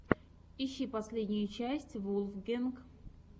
ищи последнюю часть вулфгэнг